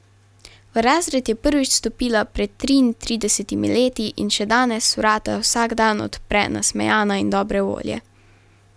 V razred je prvič stopila pred triintridesetimi leti in še danes vrata vsak dan odpre nasmejana in dobre volje.